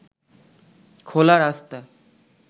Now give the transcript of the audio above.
খোলা রাস্তা